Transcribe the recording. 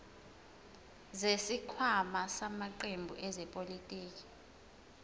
zesikhwama samaqembu ezepolitiki